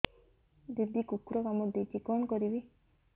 ଦିଦି କୁକୁର କାମୁଡି ଦେଇଛି କଣ କରିବି